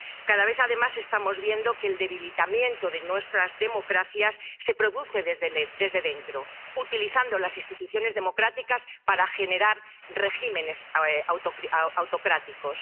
Cada vez, además, estamos viendo que el debilitamiento de nuestras democracias se produce desde dentro, utilizando las instituciones democráticas para generar regímenes autocráticos.